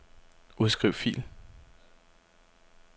Udskriv fil.